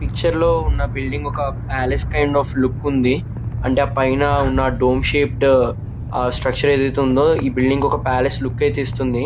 Picture లో ఉండే building ఒక పాలస్ కైండ్ అఫ్ లుక్ ఉంది. అంటే పైన ఉన్న డూమ్ షీట్ ఆ స్ట్రక్చర్ ఏది ఉందొ ఈ బిల్డింగ్ కి ఒక పాలస్ లుక్ ఇస్తుంది.